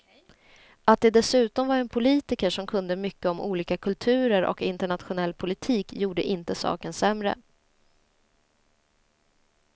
Att det dessutom var en politiker som kunde mycket om olika kulturer och internationell politik gjorde inte saken sämre.